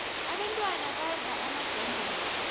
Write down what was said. abentwana badlda amadombolo